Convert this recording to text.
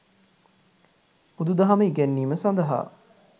බුදු දහම ඉගැන්වීම සඳහා